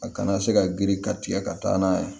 A kana se ka girin ka tigɛ ka taa n'a ye